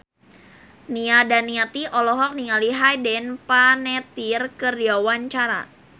Nia Daniati olohok ningali Hayden Panettiere keur diwawancara